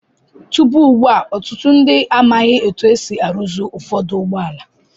Tupu ugbu a, ọtụtụ ndị amaghị otú e si arụzi ụfọdụ ụgbọala.